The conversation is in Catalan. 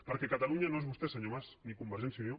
perquè catalunya no és vostè senyor mas ni convergència i unió